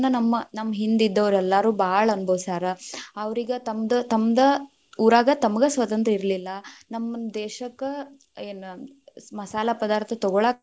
ನಮ್ ನಮ್ಮ ಹಿಂದಿದ್ದೋರ್ ಎಲ್ಲಾರೂ ಭಾಳ ಅನಭೊಸ್ಯಾರ, ಅವ್ರೀಗ ತಮ್ದ ತಮ್ದ್ ಊರಾಗ ತಮಗ್ ಸ್ವತಂತ್ರ ಇರಲಿಲ್ಲಾ, ನಮ್ ದೇಶಕ್ಕ ಏನ್‌ ಮಸಾಲಾ ಪದಾಥ೯ ತಗೊಳಾಕ.